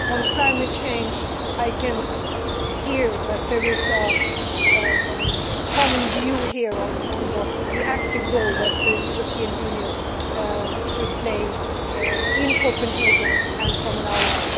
On climate change, I can hear that there is a common view here on the active role that the European Union should play in Copenhagen and from now on.